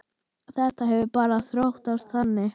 Þetta hefur bara þróast þannig.